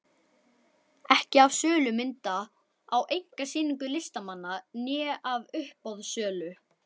Ekki af sölu mynda á einkasýningum listamanna né af uppboðssölu.